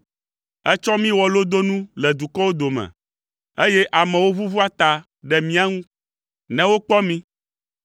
Ètsɔ mí wɔ lodonu le dukɔwo dome, eye amewo ʋuʋua ta ɖe mía ŋu ne wokpɔ mí.